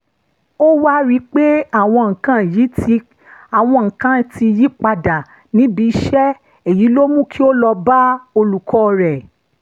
ó wá rí i pé àwọn nǹkan ti yí padà níbi iṣẹ́ èyí ló mú kó lọ bá olùkọ́ rẹ̀